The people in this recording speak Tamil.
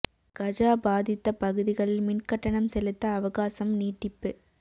கஜா பாதித்த பகுதிகளில் மின் கட்டணம் செலுத்த அவகாசம் நீட்டிப்பு